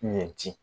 Ɲɛ ci